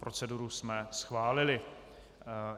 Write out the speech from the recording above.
Proceduru jsme schválili.